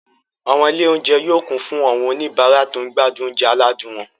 Àwọn ilé-oúnjẹ yóò kún fún àwọn oníbàárà tó ń gbádùn oúnjẹ aládùn wọn.